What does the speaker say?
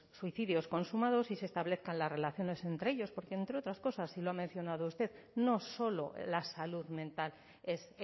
suicidios consumados y se establezcan las relaciones entre ellos porque entre otras cosas y lo ha mencionado usted no solo la salud mental es